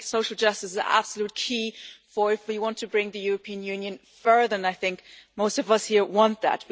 I think social justice is absolutely key if we want to take the European Union further and I think most of us here want that.